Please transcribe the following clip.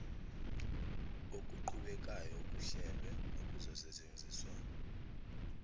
okuqhubekayo okuhlelwe nokuzosetshenziswa